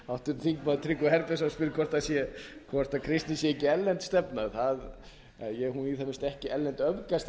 háttvirtur þingmaður tryggvi herbertsson spyr hvort kristnin sé ekki erlend stefna hún er í það minnsta ekki erlend öfgastefna svo að